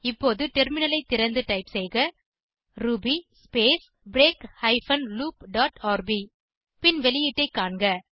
இப்போது டெர்மினலை திறந்து டைப் செய்க Ruby space break hyphen loop dot R B பின் வெளியீட்டை காண்க